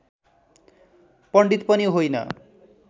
पण्डित पनि होइन